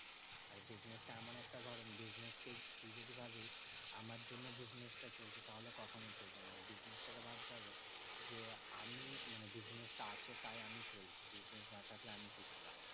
আর business টা এমনি একটা ধর business কে তুই যদি ভাবিস? আমার জন্য business টা চলছে তাহলে কখনোই চলবে না। business টা কে ভাবতে হবে যে, আমি মানে business টা আছে তাই আমি চলছে business না থাকলে আমি কিছু না।